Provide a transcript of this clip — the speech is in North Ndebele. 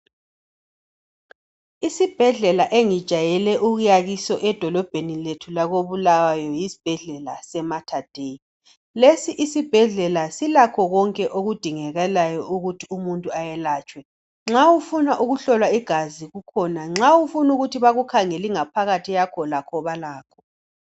Isibhedlela engijwayele ukuya kiso edolobheni lethu lakobulawayo yisibhedlela se materdei lesi isibhedlela silakho konke okudingakalayo ukuthi umuntu ayelatshwe nxa ufuna ukuhlolwa igazi kukhona nxa ufuna ukuthi bakukhangele ingaphakathi yakho lakho balakho.